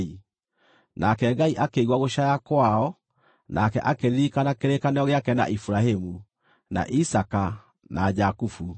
Nake Ngai akĩigua gũcaaya kwao nake akĩririkana kĩrĩkanĩro gĩake na Iburahĩmu, na Isaaka na Jakubu.